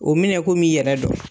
O minɛ kom'i yɛrɛ dɔ